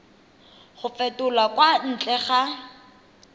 go fetolwa kwa ntle ga